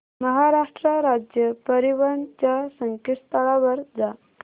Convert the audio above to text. महाराष्ट्र राज्य परिवहन च्या संकेतस्थळावर जा